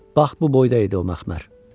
Bax bu boyda idi o məxmər.